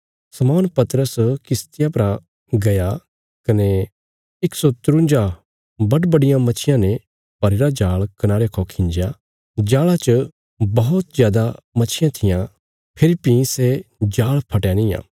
शमौन पतरस किश्तिया परा गया कने 153 बडबडियां मच्छियां ने भरीरा जाल़ कनारे खौ खिंजया जाल़ा च बौहत जादा मच्छियां थिआं फेरी भीं सै जाल़ फटया निआं